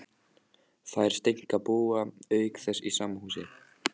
Þær Steinka búa auk þess í sama húsi.